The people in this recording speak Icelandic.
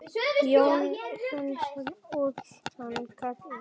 Jónína, Jónas og Anna Katrín.